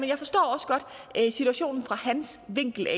jeg forstår også godt situationen set fra hans vinkel